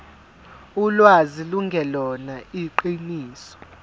ulwazi lungelona iqiniso